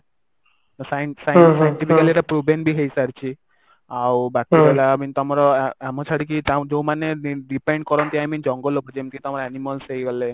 ତ science science ମୁଁ କହିଲି ଏଇଟା ବି ହେଇସାରିଛି ଆଉ ବାକି ରହିଲା i mean ତମର ଆମକୁ ଛାଡିକି ଯଉମାନେ depend କରନ୍ତି i mean ଜଙ୍ଗଲକୁ ଯେମିତି ତମର animals ହେଇଗଲେ